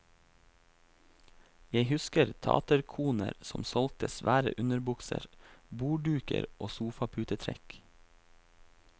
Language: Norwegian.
Jeg husker taterkoner som solgte svære underbukser, bordduker og sofaputetrekk.